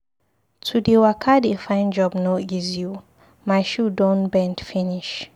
To dey waka dey find job no easy o, my shoe don bend finish.